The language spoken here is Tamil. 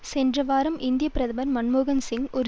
சென்ற வாரம் இந்திய பிரதமர் மன்மோகன் சிங் ஒரு